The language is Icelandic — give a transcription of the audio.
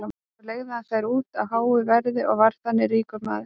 svo leigði hann þær út á háu verði og varð þannig ríkur maður